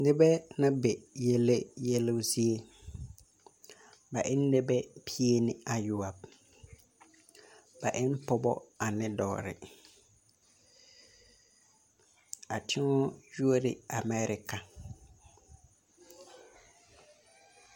Nibɛ na be yɛle yelbo zie ,ba e ne nɛbɛ pie ne ayɔɔbo ,ba e ne pɔbɔ ane dɔgre ,a teŋga yuori la amɛɛrika.